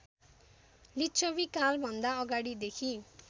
लिच्छवीकालभन्दा अगाडिदेखि